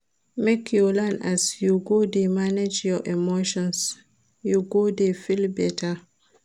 Make you learn as you go dey manage your emotions, you go dey feel beta.